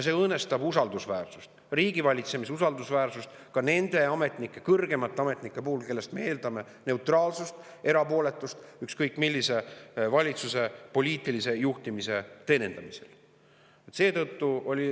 See õõnestab riigivalitsemise usaldusväärsust ka nende kõrgemate ametnike puhul, kellest me eeldame neutraalsust ja erapooletust ükskõik millise valitsuse poliitilise juhtimise teenindamisel.